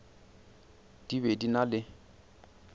di be di na le